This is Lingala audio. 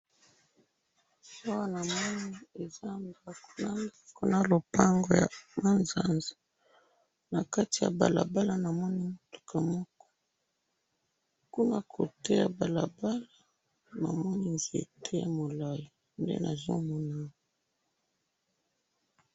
Awa na moni ndako ya etage na lopango ya ma nzanza, na mutuka na kati ya balabala na nzete pembeni ya balabala nde nazo mona awa